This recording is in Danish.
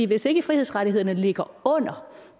hvis ikke frihedsrettighederne ligger under